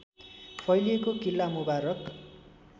फैलिएको किल्ला मुबारक